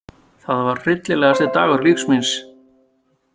Það var hryllilegasti dagur lífs míns.